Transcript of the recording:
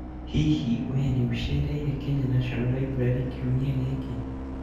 Hihi wee nĩ ũcereire Kenya National Library kiumia gĩkĩ?